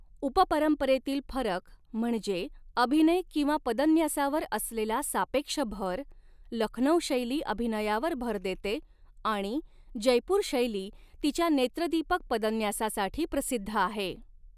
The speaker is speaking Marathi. उप परंपरेतील फरक म्हणजे अभिनय किंवा पदन्यासावर असलेला सापेक्ष भर, लखनौ शैली अभिनयावर भर देते आणि जयपूर शैली तिच्या नेत्रदीपक पदन्यासासाठी प्रसिद्ध आहे.